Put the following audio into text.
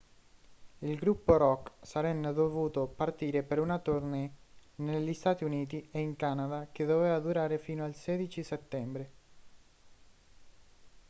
il gruppo rock sarenne dovuto partire per una tournée negli stati uniti e in canada che doveva durare fino al 16 settembre